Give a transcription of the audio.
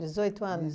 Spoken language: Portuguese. Dezoito anos?